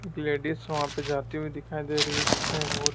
एक लेडिस वहां पे जाती हुई दिखाई दे रही है जिसमें बहुत--